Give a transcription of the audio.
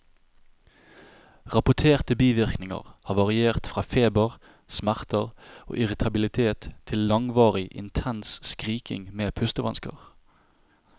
Rapporterte bivirkninger har variert fra feber, smerter og irritabilitet til langvarig, intens skriking med pustevansker.